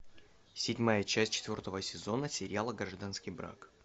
седьмая часть четвертого сезона сериала гражданский брак